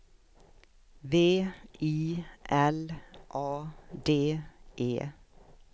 V I L A D E